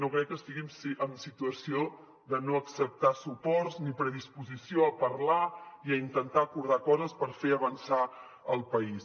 no crec que estigui en situació de no acceptar suports ni predisposició a parlar i a intentar acordar coses per fer avançar el país